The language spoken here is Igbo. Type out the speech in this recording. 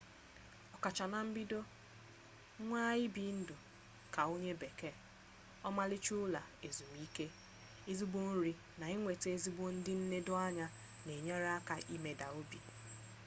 okacha na mbido nwaa ibi ndu ka onye bekee omaricha ulo ezumike ezigbo nri na inweta ezigbo ndi nnedo anya n'enyere aka imeda obi